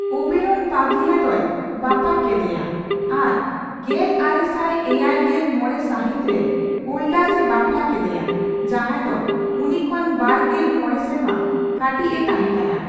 ᱳᱵᱮᱨᱚᱱ ᱯᱟᱜᱽᱞᱤᱭᱟ ᱫᱚᱭ ᱵᱟᱯᱟᱜ ᱠᱮᱫᱮᱭᱟ ᱟᱨ ᱜᱮᱞ ᱟᱨᱮᱥᱟᱭ ᱮᱭᱟᱭ ᱜᱮᱞ ᱢᱚᱲᱮ ᱥᱟᱹᱦᱤᱛ ᱨᱮ ᱳᱞᱰᱟᱥ ᱮ ᱵᱟᱯᱞᱟ ᱠᱮᱫᱮᱭᱟ, ᱡᱟᱦᱟᱸᱭ ᱫᱚ ᱩᱱᱤ ᱠᱷᱚᱱ ᱵᱟᱨᱜᱮᱞ ᱢᱚᱲᱮ ᱥᱮᱨᱢᱟ ᱠᱟᱹᱴᱤᱡ ᱮ ᱛᱟᱦᱮᱸ ᱠᱟᱱᱟ ᱾